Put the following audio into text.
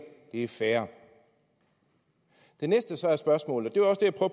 det er færre det næste der så er spørgsmålet